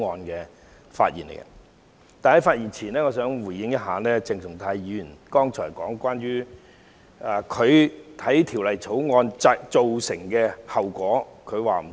在發言前，我想先回應鄭松泰議員剛才提到他認為《條例草案》會造成的後果。